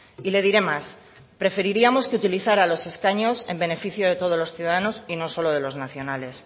y le diré más preferiríamos que utilizara los escaños en beneficio de todos los ciudadanos y no solo de los nacionales